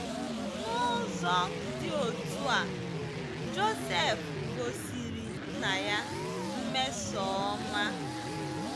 N’ụzọ dị otú a, Joseph gosiri nna ya mmesoọma.